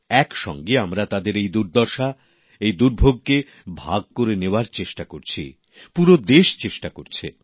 একসঙ্গে আমরা তাঁদের এই দুর্দশা এই দুর্ভোগকে ভাগ করে নেওয়ার চেষ্টা করছি পুরো দেশ চেষ্টা করছে